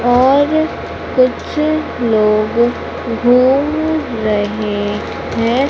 और कुछ लोग घूम रहें हैं।